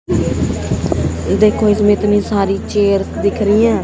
देखो इसमें इतनी सारी चेयर दिख रही है।